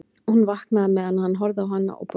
Hún vaknaði meðan hann var að horfa á hana og brosti.